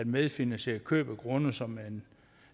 medfinansiere køb af grunde som